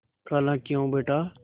खालाक्यों बेटा